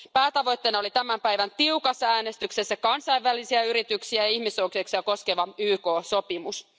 Päätavoitteena oli tämän päivän tiukassa äänestyksessä kansainvälisiä yrityksiä ja ihmisoikeuksia koskeva YK sopimus.